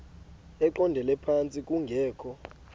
eqondele phantsi kungekho